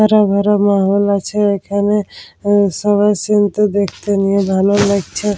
হারা ভরা মহৌল আছে এখানে-এ এ সবাই সিন্ -তে দেখতে নিয়ে ভালো লাগছে।